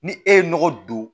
Ni e ye nɔgɔ don